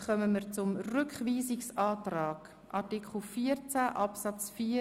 Wir kommen nun zum Rückweisungsantrag SP-JUSO-PSA zu Artikel 14 Absatz 4